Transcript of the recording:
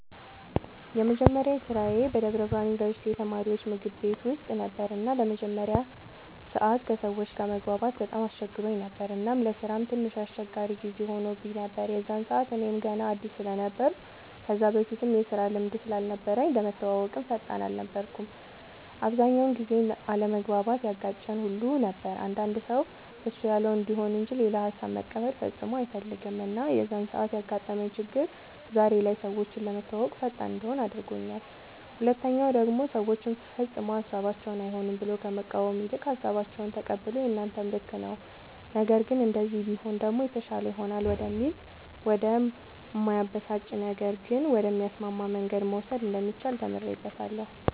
የመጀመሪያ ስራዬ በደብረ ብርሃን ዩንቨርስቲ የተማሪወች ምግብ ቤት ውስጥ ነበር እና ለመጀመሪያ ሰዓት ከሰወች ጋር መግባባት በጣም አስቸግሮኝ ነበር እናም ለስራም ትንሽ አስቸጋሪ ጊዜ ሆኖብኝ ነበር የዛን ሰዓት እኔም ገና አድስ ስለነበርኩ ከዛ በፊትም የስራ ልምድም ስላልነበረኝ ለመተወወቅም ፈጣን አልነበርኩም። አብዛኛውን ጊዜም አለመግባባት ያጋጨን ሁሉ ነበር አንዳንድ ሰው እሱ ያለው እንዲሆን እንጅ ሌላ ሃሳብ መቀበል ፈፅሞ አይፈልግም እና የዛን ሰዓት ያጋጠመኝ ችግር ዛሬ ላይ ሰወችን ለመተወወቅ ፈጣን እንድሆን አድርጎኛል ሁለተኛ ደሞ ሰወችን ፈፅሞ ሀሳባቸውን አይሆንም ብሎ ከመቃወም ይልቅ ሃሳባቸውን ተቀብሎ የናንተም ልክ ነዉ ነገር ግን እንደዚህ ቢሆን ደሞ የተሻለ ይሆናል ወደሚል ወደ እማያበሳጭ ነገር ግን ወደሚያስማማ መንገድ መውሰድ እንደሚቻል ተምሬበታለሁ።